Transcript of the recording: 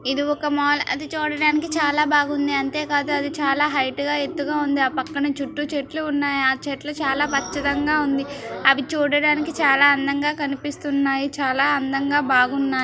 ఇది ఒక మాల్ అది చూడడానికి చాలా బాగుంది. అంతే కాదు అది చాలా హైట్ గా ఎత్తుగా ఉంది. ఆ పక్కన చుట్టూ చెట్లూ ఉన్నాయి. ఆ చెట్లు చాలా పచ్చదంగా ఉంది. అవి చూడడానికి చాలా అందంగా కన్పిస్తున్నాయి. చాలా అందంగా బాగున్నాయ్.